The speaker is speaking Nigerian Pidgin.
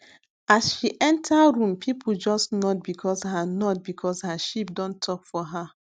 as she enter room people just nod because her nod because her sheep don talk for her